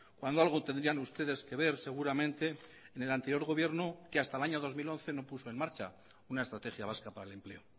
cuando algo tendrían ustedes que ver seguramente en el anterior gobierno que hasta el año dos mil once no puso en marcha una estrategia vasca para el empleo